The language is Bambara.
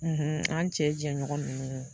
an cɛ jɛɲɔgɔn nunnu.